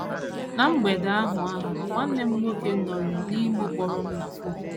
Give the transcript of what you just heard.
Ná mgbede ahụ ahụ, nwanne m nwoke nọrịị n’Imo kpọrọ m na fon.